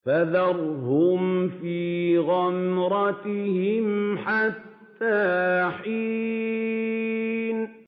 فَذَرْهُمْ فِي غَمْرَتِهِمْ حَتَّىٰ حِينٍ